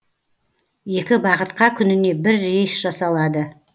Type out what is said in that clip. екі бағытқа күніне бір рейс жасалады